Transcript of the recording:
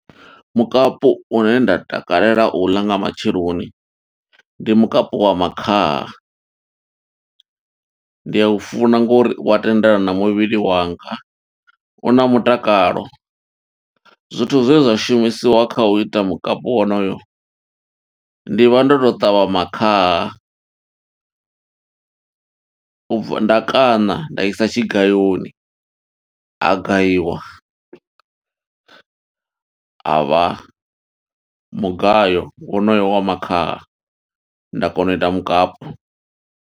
Mukapu une nda takalela u ḽa nga matsheloni, ndi mukapu wa makhaha. Ndi a u funa ngo uri u wa tendelana na muvhili wanga, u na mutakalo. Zwithu zwe zwa shumisiwa kha u ita mukapu wonoyo, ndi vha ndo to ṱavha makhaha. Nda kana nda isa tshigayoni, a gayiwa, a vha mugayo wonoyo wa makhaha. Nda kona u ita mukapu.